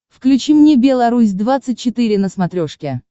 включи мне белорусь двадцать четыре на смотрешке